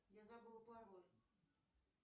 я забыла пароль